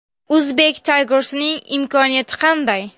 Uzbek Tigers’ning imkoniyati qanday?